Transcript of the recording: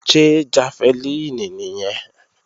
Ṣé jafẹlíìnì nìyẹn?